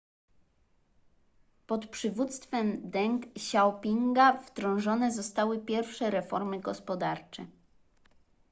pod przywództwem deng xiaopinga wdrożone zostały pierwsze reformy gospodarcze